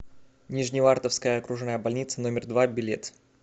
нижневартовская окружная больница номер два билет